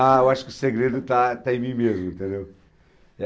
Ah, eu acho que o segredo está está em mim mesmo, entendeu?